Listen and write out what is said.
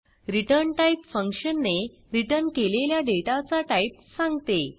ret type function ने return केलेल्या डेटाचा टाईप सांगते